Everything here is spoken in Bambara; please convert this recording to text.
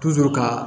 ka